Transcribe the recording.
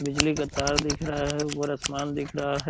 बिजली का तार दिख रहा है ऊपर आसमान दिख रहा है।